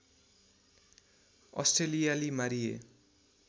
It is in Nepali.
अस्ट्रेलियाली मारिए